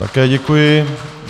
Také děkuji.